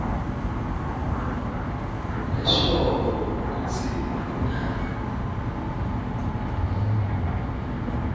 leshoko kutsi kungani